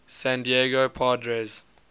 san diego padres